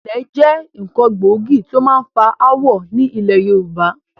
Ilẹ̀ jẹ́ nkán gbòógì tí ó máa ń fa ááwọ̀ ni ilẹ̀ Yorùbá